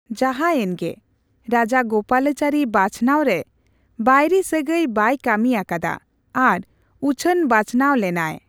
ᱡᱟᱦᱟᱭᱮᱱ ᱜᱮ, ᱨᱟᱡᱟᱜᱳᱯᱟᱞᱪᱟᱨᱤ ᱵᱟᱪᱷᱱᱟᱣ ᱨᱮ ᱵᱟᱹᱭᱨᱤ ᱥᱟᱹᱜᱟᱹᱭ ᱵᱟᱭ ᱠᱟᱹᱢᱤ ᱟᱠᱟᱫᱟ, ᱟᱨ ᱩᱪᱷᱟᱹᱱ ᱵᱟᱪᱷᱟᱹᱱᱟᱣ ᱞᱮᱱᱟᱭ ᱾